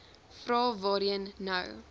vrae waarheen nou